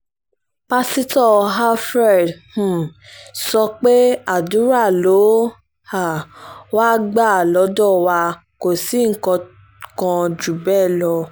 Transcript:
pásítọ̀ alfred um sọ pé àdúrà ló um wáá gbà lọ́dọ̀ wa kò sí nǹkan kan jù bẹ́ẹ̀ lọ